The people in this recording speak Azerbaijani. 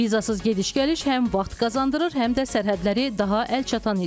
Vizasız gediş-gəliş həm vaxt qazandırır, həm də sərhədləri daha əlçatan edir.